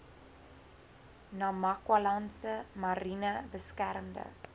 namakwalandse mariene beskermde